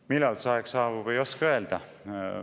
Millal see aeg saabub, ei oska öelda.